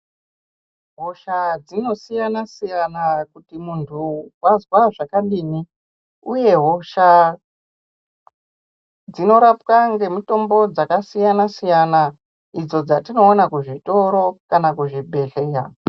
Hosha dzinosiyana siyana kuti muntu wazva zvakadini uye hosha dzinorapwa nemitombo dzakasiyana siyana idzo dzatinooka kuzvitoro kana kuzvibhedhleya.